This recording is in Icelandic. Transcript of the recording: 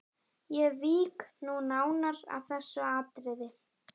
Ég vík nú nánar að þessu atriði.